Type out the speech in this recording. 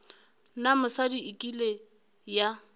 na mosadi e kile ya